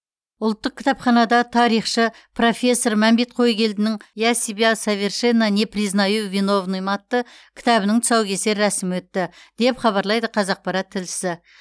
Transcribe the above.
ұлттық кітапханада тарихшы профессор мәмбет қойгелдінің я себя совершенно не признаю виновным атты кітабының тұсаукесер рәсімі өтті деп хабарлайды қазақпарат тілшісі